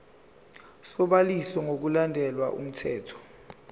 sobhaliso ngokulandela umthetho